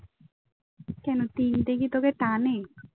কেন তিনটে কি তোকে টানে?